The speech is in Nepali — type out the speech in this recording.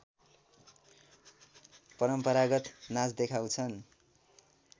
परम्परागत नाच देखाउँछन्